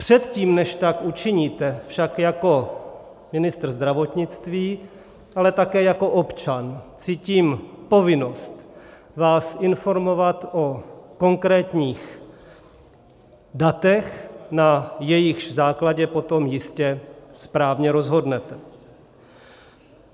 Předtím, než tak učiníte, však jako ministr zdravotnictví, ale také jako občan cítím povinnost vás informovat o konkrétních datech, na jejichž základě potom jistě správně rozhodnete.